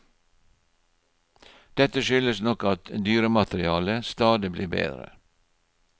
Dette skyldes nok at dyrematerialet stadig blir bedre.